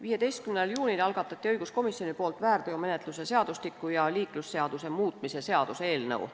15. juunil algatas õiguskomisjon väärteomenetluse seadustiku ja liiklusseaduse muutmise seaduse eelnõu.